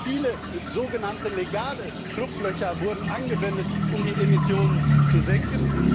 Auch viele sogenannte legale Schlupflöcher wurden genutzt, um die Emissionen zu senken.